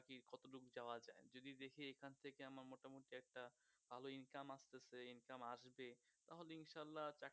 ভালো income আসতেছে income আসবে তাহলে ইনশাআল্লাহ